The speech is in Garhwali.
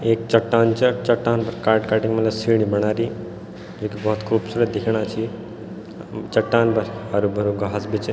एक चट्टान च चट्टान थे काट-काटी मलब सीडी बना दी जुकी बहौत खुबसूरत दिख्येणा छी चट्टान पर हरू-भरू घास भी च।